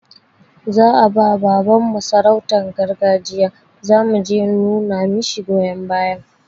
Za'a bawa baban mu sarautan garjiya, zamu je numa mishi goyon baya